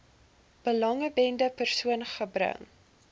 belanghebbende persoon gebring